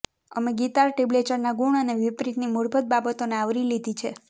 અમે ગિટાર ટેબ્લેચરના ગુણ અને વિપરીતની મૂળભૂત બાબતોને આવરી લીધી છે